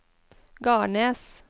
Garnes